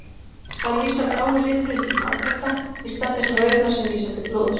Þar vísar blái liturinn til marbletta, í stað þess rauða sem vísar til blóðs.